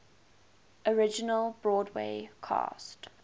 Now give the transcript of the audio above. original broadway cast